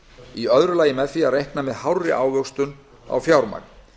í öðru lagi með því að reikna með hárri ávöxtun á fjármagn